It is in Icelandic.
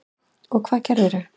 Og hvað gerðirðu?